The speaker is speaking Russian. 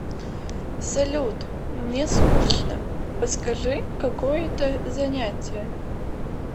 салют мне скучно подскажи какое то занятие